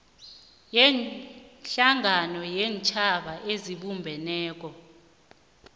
yehlangano yeentjhaba ezibumbeneko